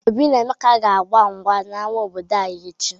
Obi na Emeka ga-gba mgba n'ama obodo anyị echi.